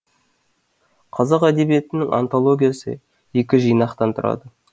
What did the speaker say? қазақ әдебиетінің антологиясы екі жинақтан тұрады